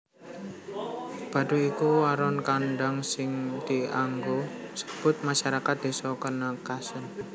Baduy iku aran kondhang sing dianggo nyebut masarakat Desa Kènèkès